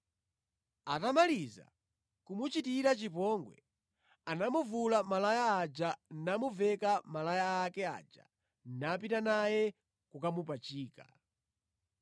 Atamaliza kumuchitira chipongwe, anamuvula malaya aja namuveka malaya ake aja napita naye kokamupachika.